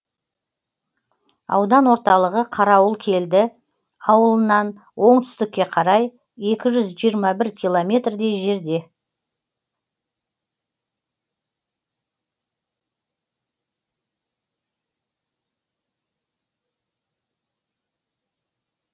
аудан орталығы қарауылкелді ауылынан оңтүстікке қарай екі жүз жиырма бір километрдей жерде